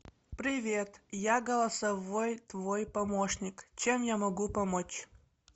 привет я голосовой твой помощник чем я могу помочь